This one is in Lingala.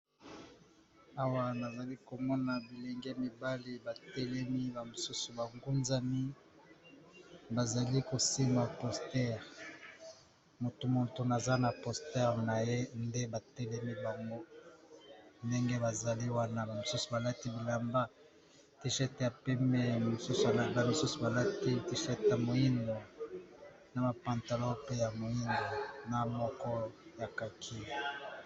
Awa nazali komona bilenge mibali ba telemi ba mosusu ba ngunzami bazali kosimba posteure, motu na motu aza na posteure na ye nde ba telemi bango ndenge bazali wana ba misusu balati bilamba ya tishete ya pembe ba misusu bilamba misusu balati tichete ya moindo na ba pantalon pe ya moindo na moko ya kaki.